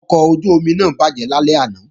Ọkọ̀ ojú-omi náà bàjẹ́ lálẹ́ àná